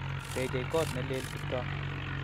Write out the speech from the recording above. Techei kot ne lel Kiptoo